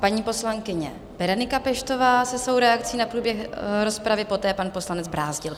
Paní poslankyně Berenika Peštová se svojí reakcí na průběh rozpravy, poté pan poslanec Brázdil.